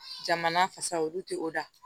Jamana fasa olu te o da